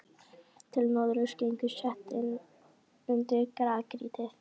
Til norðurs gengur setið inn undir grágrýtið.